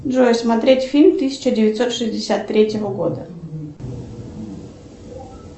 джой смотреть фильм тысяча девятьсот шестьдесят третьего года